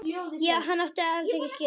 Ég átti hann ekki skilið.